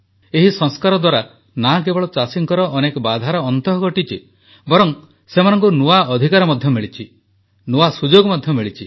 ଏହି ସଂସ୍କାର ଦ୍ୱାରା ନା କେବଳ ଚାଷୀଙ୍କର ଅନେକ ବାଧାର ଅନ୍ତ ଘଟିଛି ବରଂ ସେମାନଙ୍କୁ ନୂଆ ଅଧିକାର ମଧ୍ୟ ମିଳିଛି ନୂଆ ସୁଯୋଗ ମଧ୍ୟ ମିଳିଛି